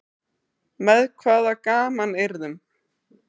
Með hvaða gamanyrðum?